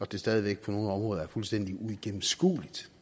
det stadig væk på nogle områder er fuldstændig uigennemskueligt